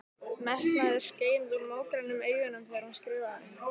Metnaður skein úr mógrænum augunum þegar hún skrifaði.